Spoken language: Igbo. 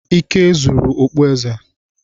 Ike zuru okpueze.